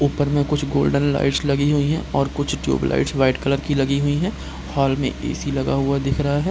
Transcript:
ऊपर में कुछ गोल्डन लाइट्स लगी हुई है और कुछ ट्यूब लाइट्स व्हाइट कलर की लगी हुई है हॉल में ए.सी. लगा हुआ दिख रहा है।